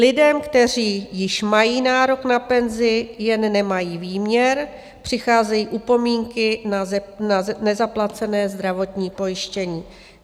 Lidem, kteří již mají nárok na penzi, jen nemají výměr, přicházejí upomínky za nezaplacené zdravotní pojištění.